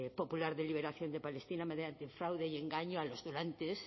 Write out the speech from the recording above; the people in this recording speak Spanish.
popular de liberación de palestina mediante fraude y engaño a los donantes